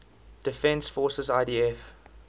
defense forces idf